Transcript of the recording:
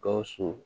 Gawusu